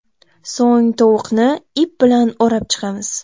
So‘ng tovuqni ip bilan o‘rab chiqamiz.